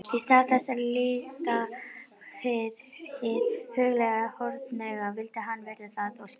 Í stað þess að líta hið huglæga hornauga vildi hann virða það og skilja.